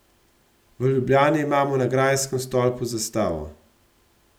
V Ljubljani imamo na grajskem stolpu zastavo.